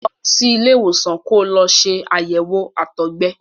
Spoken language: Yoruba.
Lọ sí ilé ìwòsàn ko lọ ṣe àyẹ̀wò àtọgbẹ.